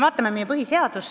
Vaatame meie põhiseadust.